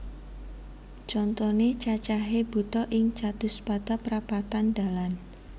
Contoné cacahé buta ing catuspata prapatan dalan